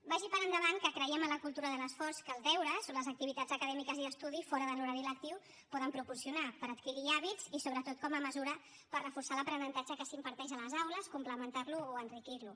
vagi per endavant que creiem en la cultura de l’esforç que els deures o les activitats acadèmiques i d’estudi fora de l’horari lectiu poden proporcionar per adquirir hàbits i sobretot com a mesura per reforçar l’aprenentatge que s’imparteix a les aules complementar lo o enriquir lo